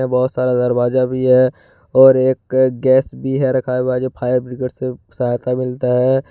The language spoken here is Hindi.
बहुत सारा दरवाजा भी है और एक गैस भी है रखा हुआ जो फायर ब्रिगेड से सहायता मिलता है।